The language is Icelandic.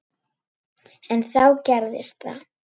En þá gerðist það.